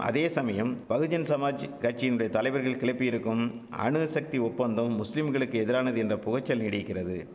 அதேசமயம் பகுஜன் சமாஜ் கட்சியினுடைய தலைவர்கள் கிளப்பியிருக்கும் அணுசக்தி ஒப்பந்தம் முஸ்லிம்களுக்கு எதிரானது என்ற புகைச்சல் நீடிக்கிறது